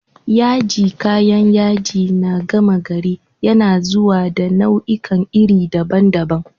Yaji, kayan yaji na gama gari, yana zuwa da nau'ikan iri daban-daban